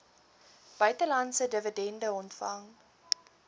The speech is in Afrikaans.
buitelandse dividende ontvang